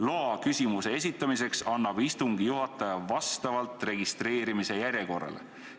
Loa küsimuse esitamiseks annab istungi juhataja vastavalt registreerimise järjekorrale.